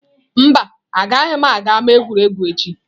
Mba, agaghị m aga ama egwuregwu echi.